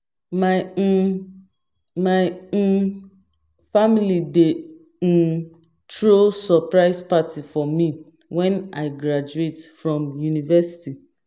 My um My um family dey um throw surprise party for me when I graduate from university.